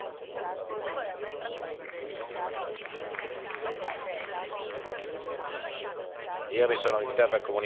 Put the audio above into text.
Io mi sono limitato a comunicare una decisione della commissione giuridica oggi l'onorevole Le Pen è coperta dall'immunità del sistema francese.